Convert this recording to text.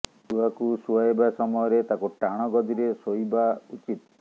ଛୁଆକୁ ଶୁଆଇବା ସମୟରେ ତାକୁ ଟାଣ ଗଦିରେ ଶୋଇବା ଉଚିତ